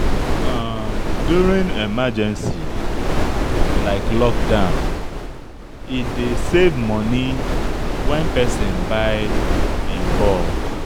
During emergency like lockdown, e dey save money when person buy in bulk